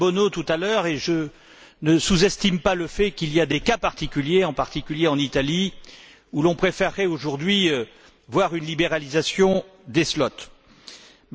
Bono tout à l'heure et je ne sous estime pas le fait qu'il y a des cas particuliers, notamment en Italie, où l'on préfèrerait aujourd'hui voir une libéralisation des créneaux horaires.